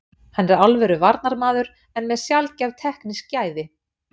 Hann er alvöru varnarmaður en með sjaldgæf teknísk gæði.